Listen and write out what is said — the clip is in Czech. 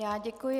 Já děkuji.